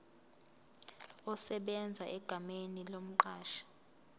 esebenza egameni lomqashi